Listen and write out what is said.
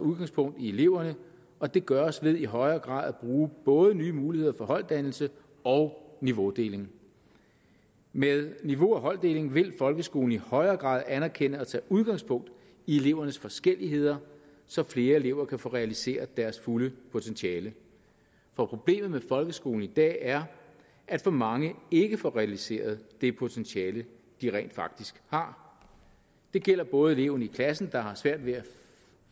udgangspunkt i eleverne og det gøres ved i højere grad at bruge både nye muligheder for holddannelse og niveaudeling med niveau og holddeling vil folkeskolen i højere grad anerkende og tage udgangspunkt i elevernes forskelligheder så flere elever kan få realiseret deres fulde potentiale for problemet med folkeskolen i dag er at for mange ikke får realiseret det potentiale de rent faktisk har det gælder både eleven i klassen der har svært ved at